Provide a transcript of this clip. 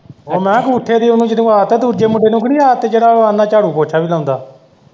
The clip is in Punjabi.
ਉਹ ਮੈਂ ਕਿਹਾ ਅੰਗੂਠੇ ਦੀ ਉਨੂੰ ਜਿਨੂੰ ਆਦਤ ਐ ਦੂਜੇ ਮੁੰਡੇ ਨੂੰ ਤੇ ਨਹੀਂ ਆਦਤ ਜਿਹੜਾ ਵਾ ਆਹਂਦਾ ਝਾੜੂ ਪੋਚਾ ਵੀ ਲਾਉਂਦਾ?